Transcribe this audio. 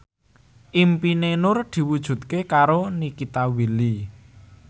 impine Nur diwujudke karo Nikita Willy